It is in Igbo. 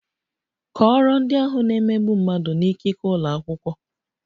Kọọrọ ndị ahụ na - emegbu mmadụ n'ikike ụlọ akwụkwọ!